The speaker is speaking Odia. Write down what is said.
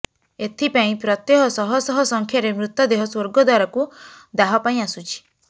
ଏଥିପାଇଁ ପ୍ରତ୍ୟହ ଶହ ଶହ ସଂଖ୍ୟାରେ ମୃତଦେହ ସ୍ବର୍ଗଦ୍ବାରକୁ ଦାହ ପାଇଁ ଆସୁଛି